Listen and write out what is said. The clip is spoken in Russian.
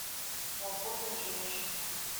свободные женщины